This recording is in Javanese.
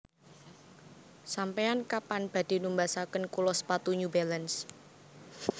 Sampean kapan badhe numbasaken kula sepatu New Balance?